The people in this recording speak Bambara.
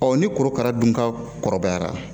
ni korokara dun ka kɔrɔbayara